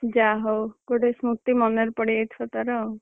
ଯାହାହଉ ଗୋଟେ ସ୍ମୃତି ମନରେ ପଡ଼ିଯାଇଥିବ ତୋର ଆଉ।